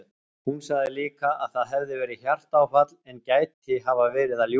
Hún sagði líka að það hefði verið hjartaáfall en gæti hafa verið að ljúga.